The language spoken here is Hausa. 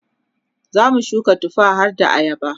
zamu shuka tufa harda ayaba